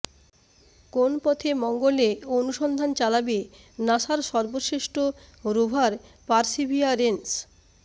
কোন পথে মঙ্গলে অনুসন্ধান চালাবে নাসার সর্বশ্রেষ্ঠ রোভার পারসিভিয়ারেন্স